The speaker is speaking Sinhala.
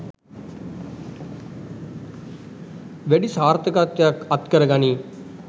වැඩි සාර්ථකත්වයක් අත්කර ගනී.